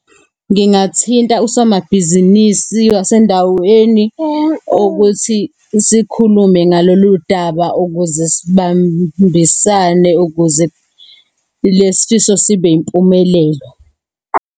Ngingathinta usomabhizinisi wasendaweni ukuthi sikhulume ngalolu daba, ukuze sibambisane ukuze lesi sifiso sibe yimpumelelo.